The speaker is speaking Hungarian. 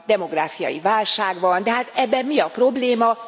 Demográfiai válság van, de hát ebben mi a probléma?